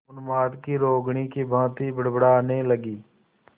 उन्माद की रोगिणी की भांति बड़बड़ाने लगी